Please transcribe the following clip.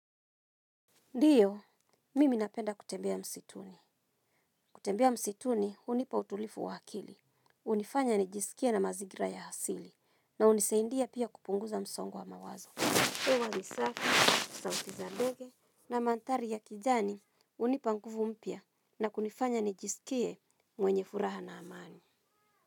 Ndiyo, mimi napenda kutembea msituni. Kutembea msituni, hunipa utulivu wa akili. Hunifanya nijiskie na mazingira ya asili. Na hunisaidia pia kupunguza msongo wa mawazo. Hewa ni safi, sauti za ndege na manthari ya kijani hunipa nguvu mpya na kunifanya nijiskie mwenye furaha na amani.